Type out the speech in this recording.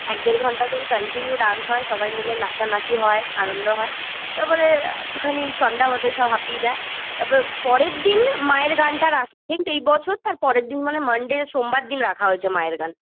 এক দেড় ঘন্টা ধরে continue dance হয় সবাই মিলে নাচানাচি হয় আনন্দ হয় তারপরে আ একটুখানি সন্ধ্যা হতে সব হাপিয়ে যায় তারপরে পরের দিন মায়ের গানটা তো এই বছর তার পরের দিন মানে monday সোমবার দিন রাখা হয়েছে মায়ের গান